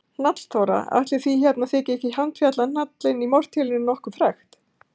Hnallþóra: Ætli því hérna þyki ég ekki handfjatla hnallinn í mortélinu nokkuð frekt.